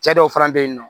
Cɛ dɔw fana be yen nɔ